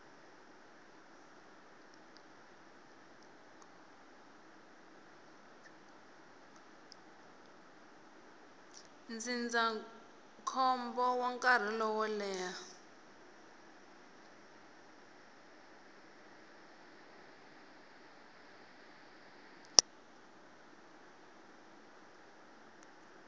ndzindzakhombo wa nkarhi lowo leha